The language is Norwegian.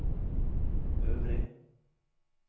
øvrig